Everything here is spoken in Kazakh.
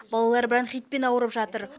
балалар бронхитпен ауырып жатыр